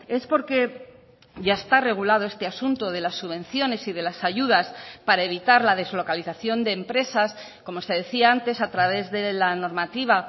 es porque ya está regulado este asunto de las subvenciones y de las ayudas para evitar la deslocalización de empresas como se decía antes a través de la normativa